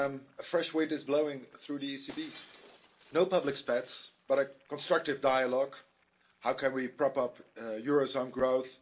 A fresh wind is blowing through the ECB. No public spats, but a constructive dialogue how can we prop up eurozone growth?